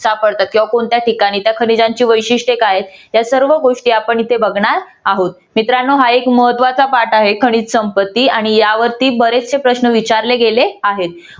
सापडतात किंवा कोणत्या ठिकाणी त्या खनिजांची वैशिष्ट्ये काय आहेत या सर्व गोष्टी आपण इथे बघणार आहोत. मित्रांनो हा एक महत्वाचा part आहे खनिज संपत्ती आणि यावरती बरेचसे प्रश्न विचारले गेले आहेत.